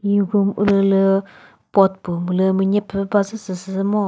hi room ulülü pot pü lülü münyepü bazü sü ngo.